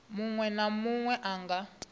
muṅwe na muṅwe a nga